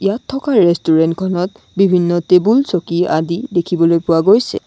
ইয়াত থকা ৰেষ্টুৰেণ্ট খনত বিভিন্ন টেবুল চকী আদি দেখিবলৈ পোৱা গৈছে।